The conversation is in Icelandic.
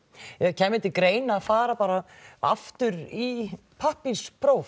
kæmi til greina að fara aftur í